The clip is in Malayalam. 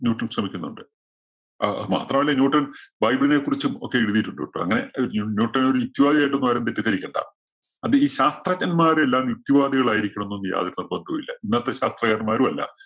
ന്യൂട്ടൺ ശ്രമിക്കുന്നുണ്ട്. അഹ് അതുമാത്രമല്ല, ന്യൂട്ടൺ ബൈബിളിനെക്കുറിച്ചും ഒക്കെ എഴുതിയിട്ടുണ്ട് കേട്ടോ. അങ്ങനെ ന്യൂ~ന്യൂട്ടൺ ഒരു യുക്തിവാദി ആയിട്ടൊന്നും ആരും തെറ്റിദ്ധരിക്കണ്ട. അത് ഈ ശാസ്ത്രജ്ഞൻമാരെല്ലാവരും യുക്തിവാദികളായിരിക്കണമെന്നൊന്നും യാതൊരു നിർബന്ധവുമില്ല. ഇന്നത്തെ ശാസ്ത്രകാരന്മാരുമല്ല.